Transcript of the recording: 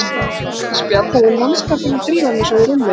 Ég myndi spjalla við mannskapinn og drífa mig svo í rúmið.